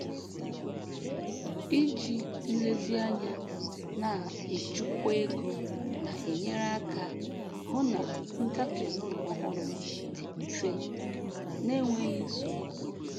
Iji nlezianya na-echukwa ego na-enyere aka hụ na ngafe n'ụlọ ọhụrụ dị mfe na enweghị nsogbu.